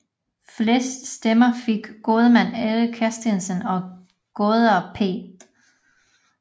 Flest stemmer fik gårdmand Erik Christensen og gårdejer P